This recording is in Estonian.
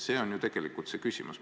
See on ju tegelikult küsimus.